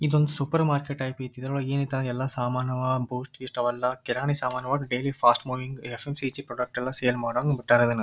ಇದು ಒಂದು supermarket ಐತಿ ಇದ್ರೊಳಗ ಏನ್ ಐತ ಎಲ್ಲಾ ಸಾಮಾನ್ ಅವ್ ಬೂಸ್ಟ್ ಗೀಸ್ಟ್ ಅವೆಲ್ಲಾ ಕಿರಾಣಿ ಸಾಮಾನ್ ವಟ್ಟ ಡೈಲಿ ಫಾಸ್ಟ್ ಮೂವಿಂಗ್ ಪ್ರಾಡಕ್ಟ್ ಎಲ್ಲಾ ಸೇಲ್ ಮಾಡೋದು ಬಿಟ್ಟಾರ್ ಅದನ್ನ.